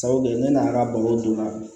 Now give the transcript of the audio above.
Sabu kɛ ne n'a ka balo donna